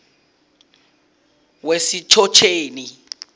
wesitjhotjheni